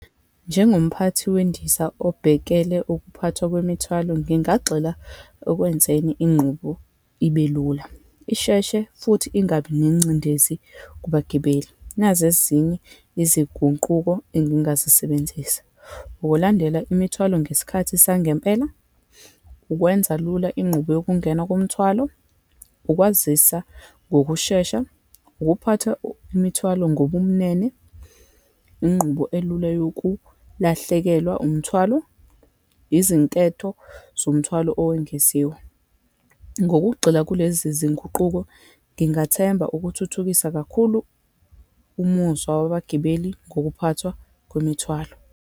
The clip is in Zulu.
Njengomphathi wendiza obhekele ukuphathwa kwemithwalo, ngingagxila ekwenzweni inqubo ibe lula, isheshe, futhi ingabi nengcindezi kubagibeli. Nazi ezinye izigunquko engingazisebenzisa, ukulandela imithwalo ngesikhathi sangempela, ukwenza lula inqubo yokungena komthwalo, ukwazisa ngokushesha, ukuphatha imithwalo ngobumnene, inqubo elula yokulahlekelwa umthwalo, izinketho zomthwalo owengeziwe. Ngokugxila kulezi zinguquko, ngingathemba ukuthuthukisa kakhulu umuzwa wabagibeli ngokuphathwa kwemithwalo.